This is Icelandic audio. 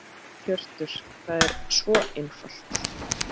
Hjörtur: Það er svo einfalt?